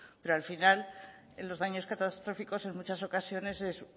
porque final los daños catastróficos en muchas ocasiones es